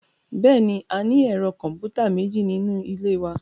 Bẹ́ẹ̀ni, a ní ẹ̀rọ kọ̀m̀pútà méjì nínú ilé wa